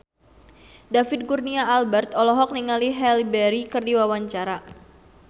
David Kurnia Albert olohok ningali Halle Berry keur diwawancara